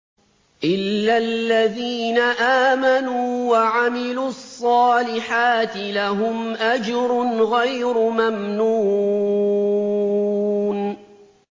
إِلَّا الَّذِينَ آمَنُوا وَعَمِلُوا الصَّالِحَاتِ لَهُمْ أَجْرٌ غَيْرُ مَمْنُونٍ